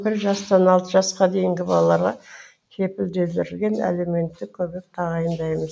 бір жастан алты жасқа дейінгі балаларға кепілдендірілген әлеуметтік көмек тағайындаймыз